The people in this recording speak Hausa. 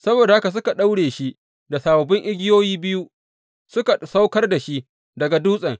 Saboda haka suka daure shi da sababbin igiyoyi biyu, suka saukar da shi daga dutsen.